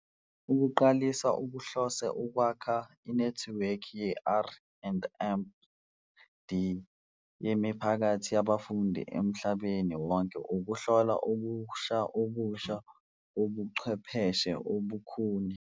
Ukuqalisa kuhlose ukwakha inethiwekhi ye-R and D yemiphakathi yabafundi emhlabeni wonke ukuhlola okusha okusha kobuchwepheshe obukhuni.